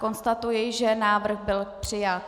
Konstatuji, že návrh byl přijat.